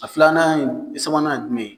A filanan ye sabanan ye jumɛn ye?